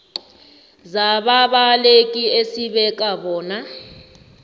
zababaleki esibeka bona